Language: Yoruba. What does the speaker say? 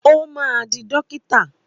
Ó máa di dókítà.